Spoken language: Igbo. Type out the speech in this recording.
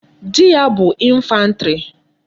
Di ya bu infantry